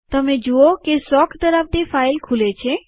તમે જુઓ કે શોખ ધરાવતી ફાઈલ ખુલે છે